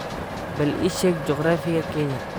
Bal ii sheeg juqraafiga Kenya